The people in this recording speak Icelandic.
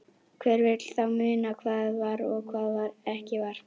Hver vill þá muna hvað var og hvað ekki var.